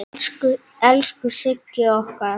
Elsku Sigga okkar.